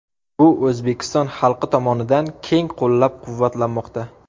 Bu O‘zbekiston xalqi tomonidan keng qo‘llab-quvvatlanmoqda.